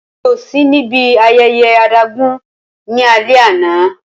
Rara, Emi ko si ni ibi ayẹyẹ adágún ni alẹ ana.